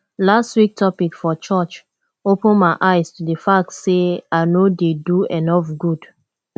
last week topic for church open my eyes to the fact say i no dey do enough good